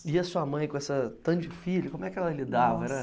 E a sua mãe, com essa tanto de filho, como é que ela lidava? Era